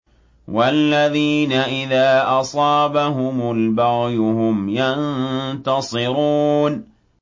وَالَّذِينَ إِذَا أَصَابَهُمُ الْبَغْيُ هُمْ يَنتَصِرُونَ